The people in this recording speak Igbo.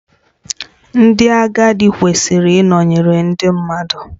Ndị agadi kwesịrị ịnọnyere ndị mmadụ